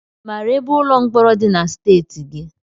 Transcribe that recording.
Ị mara ebe ụlọ mkpọrọ dị na steeti gị?